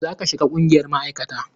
A yi ma Garba kaciya yanzun nan!